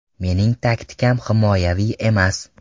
Mening taktikam himoyaviy emas.